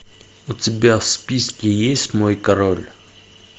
у тебя в списке есть мой король